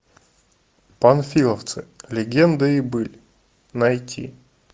панфиловцы легенды и быль найти